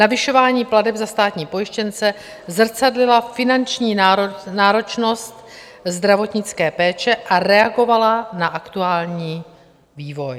Navyšování plateb za státní pojištěnce zrcadlila finanční náročnost zdravotnické péče a reagovala na aktuální vývoj.